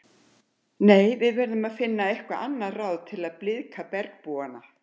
Nei, við verðum að finna eitthvað annað ráð til að blíðka bergbúana